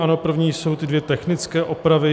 Ano, první jsou ty dvě technické opravy.